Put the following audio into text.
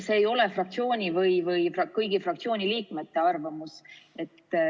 See ei ole fraktsiooni või kõigi fraktsiooni liikmete arvamus.